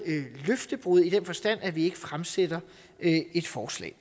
løftebrud i den forstand at vi ikke fremsætter et forslag